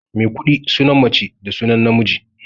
Maikuɗi sunan mace da sunan namiji.